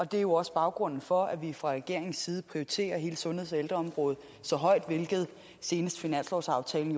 det er jo også baggrunden for at vi fra regeringens side prioriterer hele sundheds og ældreområdet så højt hvilket senest finanslovsaftalen